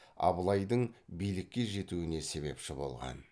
абылайдың билікке жетуіне себепші болған